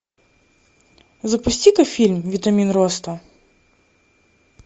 запусти ка фильм витамин роста